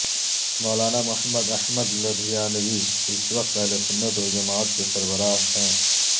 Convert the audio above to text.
مولانا محمد احمد لدھیانوی اس وقت اہلسنت والجماعت کے سربراہ ہیں